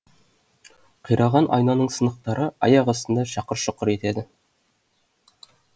қираған айнаның сынықтары аяқ астында шақыр шұқыр етеді